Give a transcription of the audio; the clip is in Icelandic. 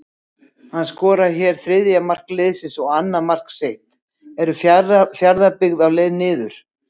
HANN SKORAR HÉR ÞRIÐJA MARK LIÐSINS OG ANNAÐ MARK SITT, ERU FJARÐABYGGÐ Á LEIÐ NIÐUR???